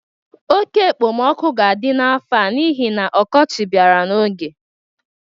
Oke ekpemoku ga-adị n'afọ a n'ihi na ọkọchị bịara n'oge.